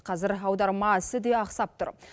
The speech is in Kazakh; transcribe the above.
қазір аударма ісі де ақсап тұр